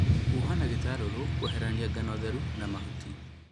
Huha na gĩtarũrũ kũeherania ngano theru na mahutii